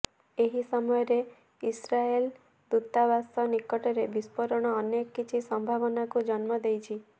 ଏହି ସମୟରେ ଇସ୍ରାଏଲ ଦୂତାବାସ ନିକଟରେ ବିସ୍ଫୋରଣ ଅନେକ କିଛି ସମ୍ଭାବନାକୁ ଜନ୍ମ ଦେଇଛି